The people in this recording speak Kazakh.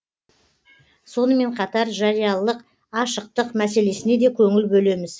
сонымен қатар жариялық ашықтық мәселесіне де көңіл бөлеміз